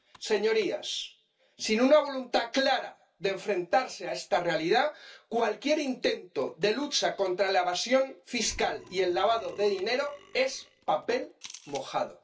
Señorías sin una voluntad clara de enfrentarse a esta realidad, cualquier intento de lucha contra la evasión fiscal y el lavado de dinero es papel mojado.